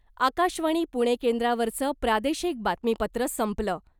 आकाशवाणी पुणे केंद्रावरचं प्रादेशिक बातमीपत्र संपलं .